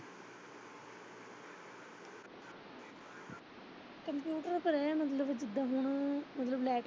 ਚੱਲ ਮੈਂ ਹੁਣ ਜਿਦਾ ਹੁਣ ਮਤਲਬ ਲੈਟਰ।